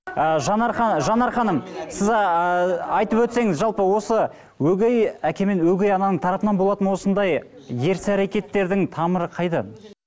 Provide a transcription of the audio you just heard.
ы жанар ханым жанар ханым сіз ыыы айтып өтсеңіз жалпы осы өгей әке мен өгей ананың тарапынан болатын осындай ерсі әрекеттердің тамыры қайдан